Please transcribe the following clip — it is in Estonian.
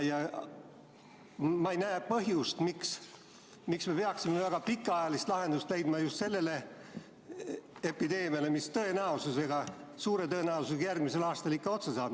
Ja ma ei näe põhjust, miks me peaksime väga pikaajalist lahendust leidma just sellele epideemiale, mis suure tõenäosusega järgmisel aastal ikka otsa saab.